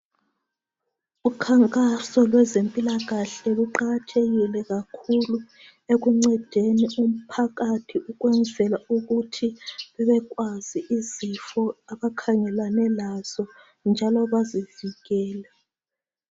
Ukhankaso lwezempilakahle luqakathekile kakhulu ekuncedeni umphakathi ukwenzela ukuthi bebekwazi izifo abakhangelane lazo njalo bazivikele.